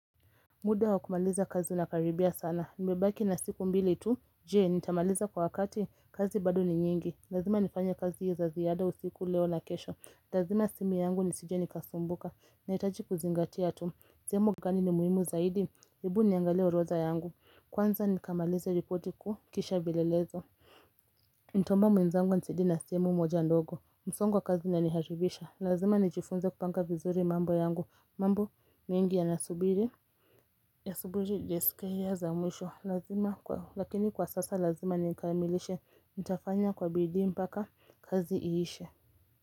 Muda wakumaliza kazi unakaribia sana, nimebaki na siku mbili tu, je, nitamaliza kwa wakati, kazi bado ni nyingi, lazima nifanye kazi za ziada usiku leo na kesho, ntazima simu yangu nisije nikasumbuka, na hitaji kuzingatia tu, sehemu gani ni muhimu zaidi, hebu niangalie orodha yangu, kwanza nikamalize ripoti kuu kisha vielelezo Nitaomba mwenzangu anisaidie na simu moja ndogo, msongo wa kazi unaniathirisha Lazima nijifunze kupanga vizuri mambo yangu mambo mengi yanasubiri ya subiri sekunde za mwisho lakini kwa sasa lazima nikamilishe Nitafanya kwa bidii mpaka kazi iishe.